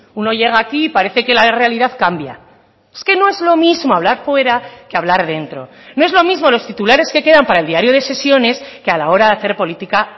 uno llega aquí y parece que la realidad cambia es que no es lo mismo hablar fuera que hablar dentro no es lo mismo los titulares que quedan para el diario de sesiones que a la hora de hacer política